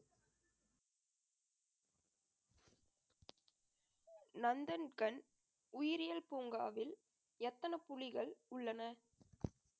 நந்தன்கண் உயிரியல் பூங்காவில் எத்தனை புலிகள் உள்ளன